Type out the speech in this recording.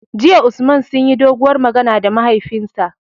JIya Usman sunyi doguwar magana da mahaifinsa